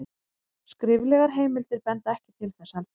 skriflegar heimildir benda ekki til þess heldur